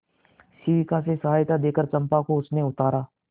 शिविका से सहायता देकर चंपा को उसने उतारा